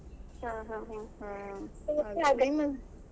ಹಾ ಹಾ ಹಾ.